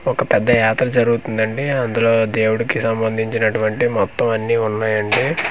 ఒక పెద్ద యాత్ర జరుగుతుందండి అందులో దేవుడికి సంబంధించినటువంటి మొత్తం అన్నీ ఉన్నాయండి.